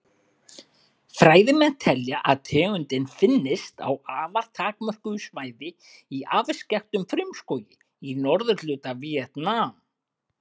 Fræðimenn telja að tegundin finnist á afar takmörkuðu svæði í afskekktum frumskógi í norðurhluta Víetnam.